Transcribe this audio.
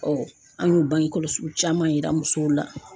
an y'o bange kɔlɔsiw caman yira musow la.